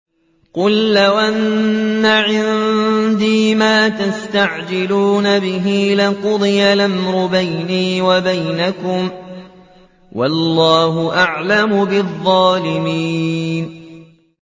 قُل لَّوْ أَنَّ عِندِي مَا تَسْتَعْجِلُونَ بِهِ لَقُضِيَ الْأَمْرُ بَيْنِي وَبَيْنَكُمْ ۗ وَاللَّهُ أَعْلَمُ بِالظَّالِمِينَ